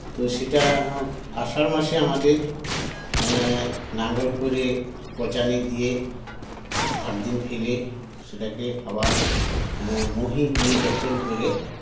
তো সেটা আ আষাঢ় মাসে আমাদের এ লাঙ্গল করে পঁচানী দিয়ে আটদিন ফেলে সেটাকে আবার আ মোহি দিয়ে যতন করে